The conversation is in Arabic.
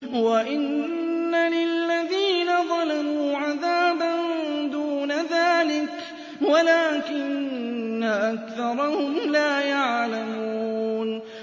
وَإِنَّ لِلَّذِينَ ظَلَمُوا عَذَابًا دُونَ ذَٰلِكَ وَلَٰكِنَّ أَكْثَرَهُمْ لَا يَعْلَمُونَ